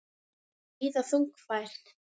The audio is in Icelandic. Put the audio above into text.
Enn víða þungfært